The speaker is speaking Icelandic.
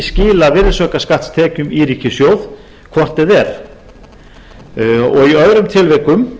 skila virðisaukaskattstekjum í ríkissjóð hvort eð er í öðrum tilvikum